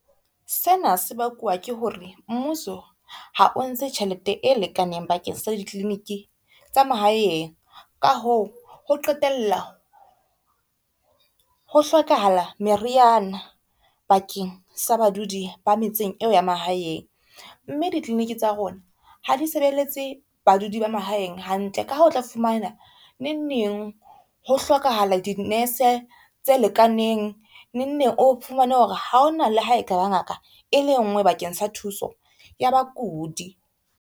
Sena se bakuwa ke hore mmuso ha o ntshe tjhelete e lekaneng bakeng sa di clinic-e tsa mahaeng, ka hoo ho qetella ho hlokahala meriana bakeng sa badudi ba metseng eo ya mahaeng, mme di clinic tsa rona ha di sebeletse badudi ba mahaeng hantle. Ka ha o tla fumana neng neng ho hlokahala dinese tse lekaneng, neng neng o fumane hore ha hona le ha e ka ba ngaka e le ngwe bakeng sa thuso ya bakudi.